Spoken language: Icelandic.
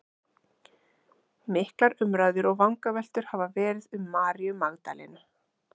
Miklar umræður og vangaveltur hafa verið um Maríu Magdalenu.